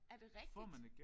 Er det rigtigt?